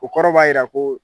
O kɔrɔ b'a jira ko